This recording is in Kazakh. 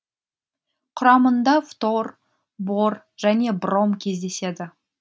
құрамында фтор бор және бром кездеседі